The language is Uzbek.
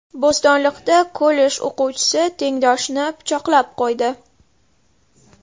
Bo‘stonliqda kollej o‘quvchisi tengdoshini pichoqlab qo‘ydi.